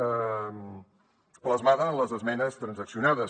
plasmada en les esmenes transaccionades